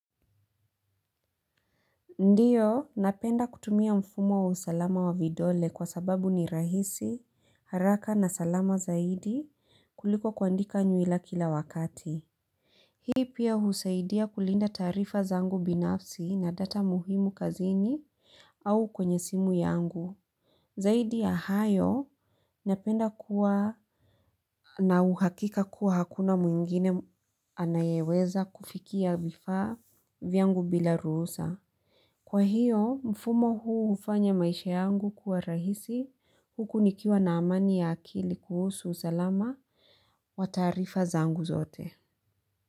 Ndiyo, napenda kutumia mfumo wa usalama wa vidole kwa sababu ni rahisi, haraka na salama zaidi kuliko kuandika nyuila kila wakati. Hii pia husaidia kulinda taarifa zangu binafsi na data muhimu kazini au kwenye simu yangu. Zaidi ya hayo napenda kuwa na uhakika kuwa hakuna mwingine anayeweza kufikia vifaa vyangu bila ruhusa. Kwa hiyo, mfumo huu hufanya maisha yangu kuwa rahisi huku nikiwa na amani ya akili kuhusu usalama wa taarifa zangu zote.